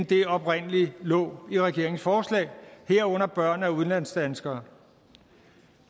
der oprindelig lå i regeringens forslag herunder børn af udenlandsdanskere